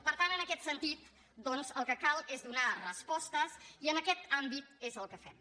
per tant en aquest sentit doncs el que cal és donar respostes i en aquest àmbit és el que fem